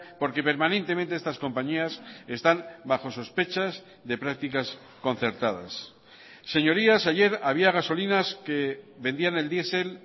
porque permanentemente estas compañías están bajo sospechas de prácticas concertadas señorías ayer había gasolinas que vendían el diesel